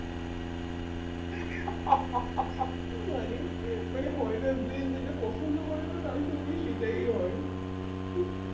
মানে মানে হয় না যে যেটা পছন্দ করে না তার সঙ্গে সেটাই হয়